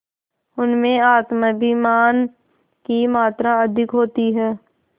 उनमें आत्माभिमान की मात्रा अधिक होती है